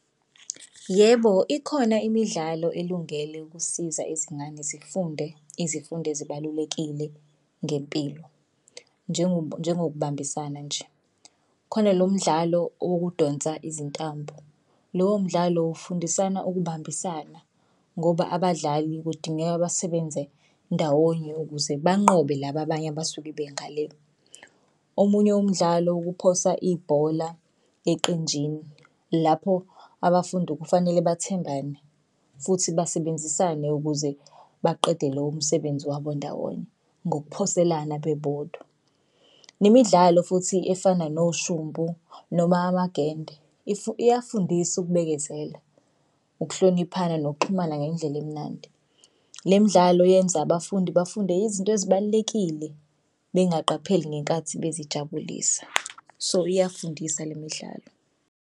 Yebo, ikhona imidlalo elungele ukusiza ezingane zifunde izifundo ezibalulekile ngempilo njengokubambisana nje. Khona lo mdlalo wokudonsa izitambu lowo mdlalo ufundisana ukubambisana ngoba abadlali kudingeka basebenze ndawonye ukuze banqobe laba abanye abasuke bengale. Omunye umdlalo ukuphosa ibhola eqenjini, lapho abafundi kufanele bathembane futhi basebenzisane ukuze baqede lowo msebenzi wabo ndawonye ngokuphoselana bebodwa. Nemidlalo futhi efana noshumpu noma amagende iyafundisa ukubekezela, ukuhloniphana, nokuxhumana ngendlela emnandi. Le midlalo yenza abafundi bafunde izinto ezibalulekile bengaqapheli ngenkathi bezijabulisa. So iyakufundisa le midlalo.